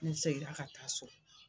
N segira ka taa so